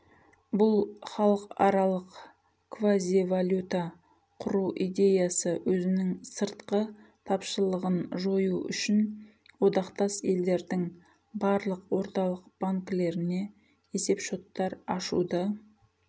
бұл халықаралық квазивалюта құру идеясы өзінің сыртқы тапшылығын жою үшін одақтас елдердің барлық орталық банкілеріне есеп шоттар ашуды